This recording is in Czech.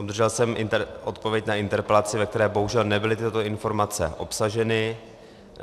Obdržel jsem odpověď na interpelaci, ve které bohužel nebyly tyto informace obsaženy.